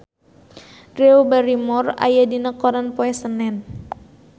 Drew Barrymore aya dina koran poe Senen